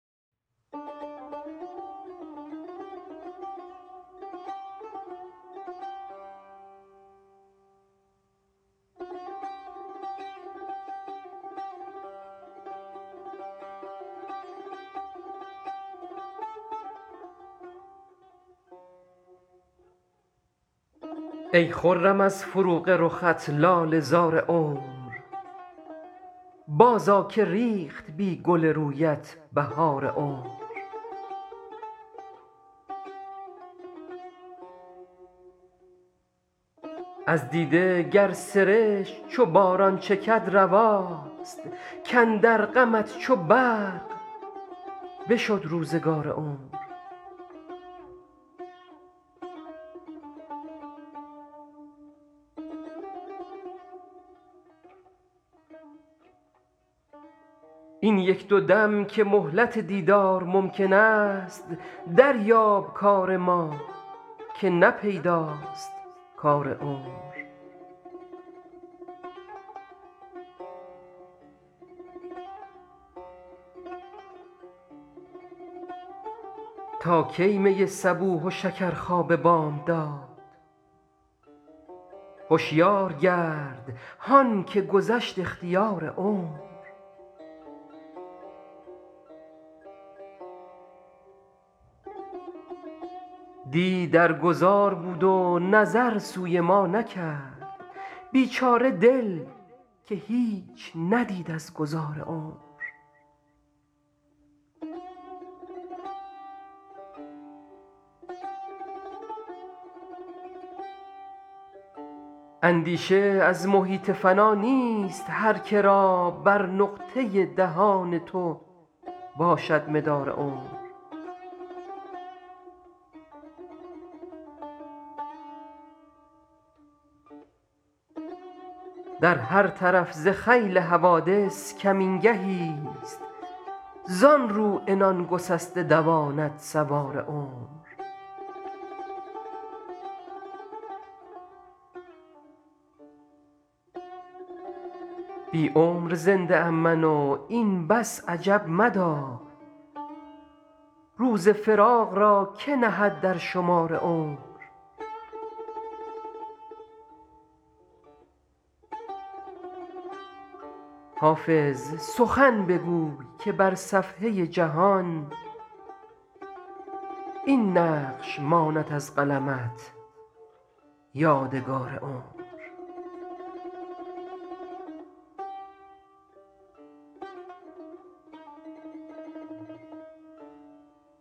ای خرم از فروغ رخت لاله زار عمر بازآ که ریخت بی گل رویت بهار عمر از دیده گر سرشک چو باران چکد رواست کاندر غمت چو برق بشد روزگار عمر این یک دو دم که مهلت دیدار ممکن است دریاب کار ما که نه پیداست کار عمر تا کی می صبوح و شکرخواب بامداد هشیار گرد هان که گذشت اختیار عمر دی در گذار بود و نظر سوی ما نکرد بیچاره دل که هیچ ندید از گذار عمر اندیشه از محیط فنا نیست هر که را بر نقطه دهان تو باشد مدار عمر در هر طرف ز خیل حوادث کمین گهیست زان رو عنان گسسته دواند سوار عمر بی عمر زنده ام من و این بس عجب مدار روز فراق را که نهد در شمار عمر حافظ سخن بگوی که بر صفحه جهان این نقش ماند از قلمت یادگار عمر